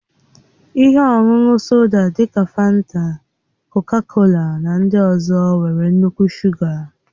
Ihe ọṅụṅụ soda dị ka fanta, kọka-kola na ndị ọzọ nwere nnukwu shuga.